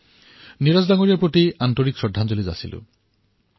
নীৰজ মহোদয়ক সাদৰেৰে শ্ৰদ্ধাঞ্জলি জ্ঞাপন কৰিছোঁ